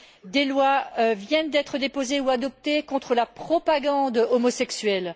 Des lois viennent d'être déposées ou adoptées contre la propagande homosexuelle.